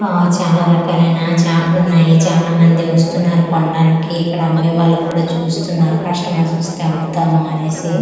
ఆ చాలా రకలైన చాపలు ఉన్నాయి చాలా మంది వస్తున్నారు కొనడానికి ఇక్కడ అమ్మేవాలు కూడా చూస్తున్నారు కస్టమర్స్ వస్తే అమ్ముతాము అనేసి ఆ ఎవర్--